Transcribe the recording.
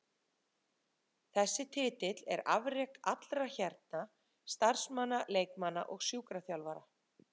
Þessi titill er afrek allra hérna, starfsmanna, leikmanna og sjúkraþjálfara.